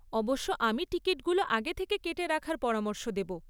অবশ্য, আমি টিকিটগুলো আগে থেকে কেটে রাখার পরামর্শ দেব।